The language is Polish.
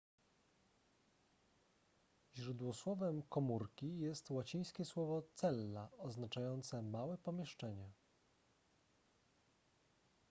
źródłosłowem komórki jest łacińskie słowo cella oznaczające małe pomieszczenie